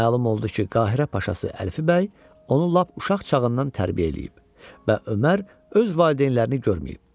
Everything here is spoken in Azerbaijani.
Məlum oldu ki, Qahirə paşası Əlfi bəy onu lap uşaq çağında tərbiyə eləyib və Ömər öz valideynlərini görməyib.